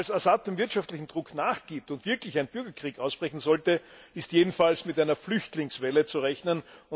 Falls Assad dem wirtschaftlichen Druck nachgibt und wirklich ein Bürgerkrieg ausbrechen sollte, ist jedenfalls mit einer Flüchtlingswelle zu rechnen.